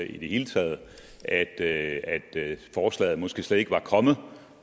i det hele taget at forslaget måske slet ikke var kommet